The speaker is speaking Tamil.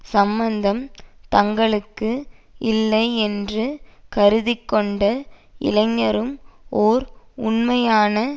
சம்பந்தம் தங்களுக்கில்லை என்று கருதிக்கொண்ட இளைஞரும் ஓர் உண்மையான